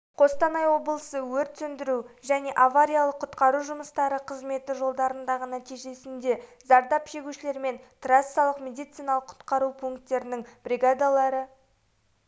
қостанай облысы өрт сөндіру және авариялық-құтқару жұмыстары қызметі жолдардағы нәтижесінде зардап шегушілермен трассалық медициналық-құтқару пунктерінің бригадалары